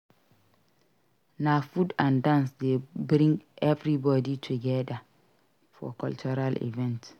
Na food and dance dey bring everybody togedir for cultural events.